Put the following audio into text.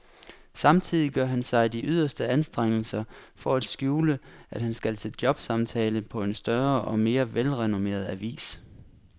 Samtidig gør han sig de yderste anstrengelser for at skjule, at han skal til jobsamtale på en større og mere velrenommeret avis.